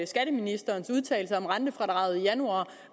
skatteministerens udtalelser om rentefradraget i januar